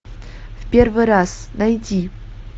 ы